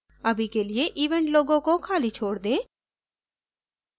अभी के लिए event logo को खाली छोड़ दें